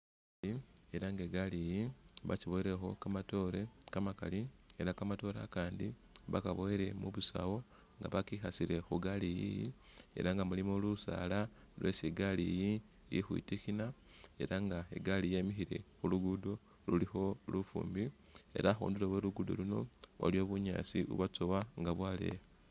Elah nga igaliyi bakiboyilekho kamatoore kamakaali elah nga kamatoore akandi bakaboyile mubusawu bakekhasile khugaliyi elah nga mulimo lusaala lwesi igaliyi ilikhwitikhina elah nga igali yemile khulugudo lulikho lufumbi elah khundulo khwe luguddo luuno waliwo bunyaasi bubwatsowa nga bwaleya